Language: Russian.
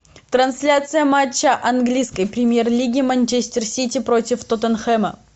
трансляция матча английской премьер лиги манчестер сити против тоттенхэма